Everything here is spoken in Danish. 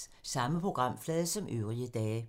Samme programflade som øvrige dage